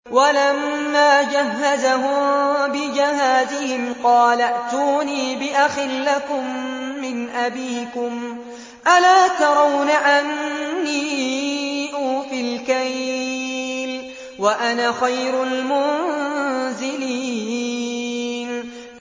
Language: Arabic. وَلَمَّا جَهَّزَهُم بِجَهَازِهِمْ قَالَ ائْتُونِي بِأَخٍ لَّكُم مِّنْ أَبِيكُمْ ۚ أَلَا تَرَوْنَ أَنِّي أُوفِي الْكَيْلَ وَأَنَا خَيْرُ الْمُنزِلِينَ